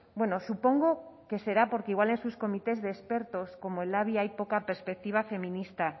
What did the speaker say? bueno supongo que será porque igual en sus comités de expertos como el labi hay poca perspectiva feminista